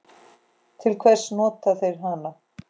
Til hvers nota þeir hana?